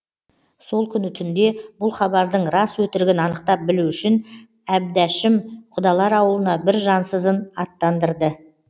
сол күні түнде бұл хабардың рас өтірігін анықтап білу үшін әбдәшім құдалар ауылына бір жансызын аттандырды